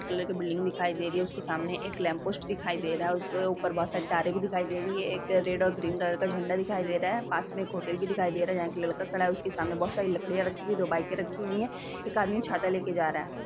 White colour के building दिखाई दे रही है उसके सामने एक लैंप पोस्ट दिखाई दे रहा है उसके ऊपर बोहोत सारी तारे भी दिखाई दे रही है एक रेड और ग्रीन कलर का झण्डा दिखाई दे रहा है पास मे एक होटल भी दिखाई दे रहा है जहाँ एक लड़का खड़ा है उसके सामने बोहोत सारी लकड़ियाँ रखी है दो बाइके रखी हुई है एक आदमी छाता लेके जा रहा है ।